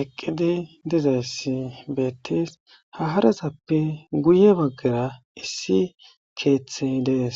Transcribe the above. eqqidi dizayssi beettees ha harazappe guye baggara issi keeththe dees